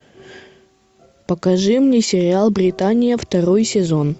покажи мне сериал британия второй сезон